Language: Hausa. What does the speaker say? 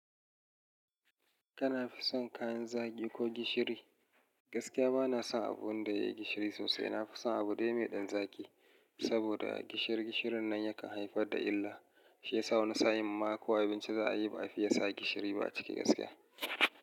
Kana fi son kayan zaki ko gishiri? Gaskiya bana son abun da ya yi gishiri sosai. Na fi son abu dai mai ɗan zaki. Saboda gishirin nan yakan haifar da illa. Shi yasa wani sa'in ma ko abinci za a yi ba a fiye sa gishiri ba a cike gaskiya.